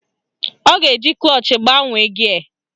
Ọ ga-eji klọch gbanwee gịe